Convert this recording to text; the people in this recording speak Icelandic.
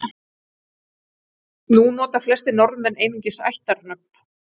Nú nota flestir Norðmenn einungis ættarnöfn.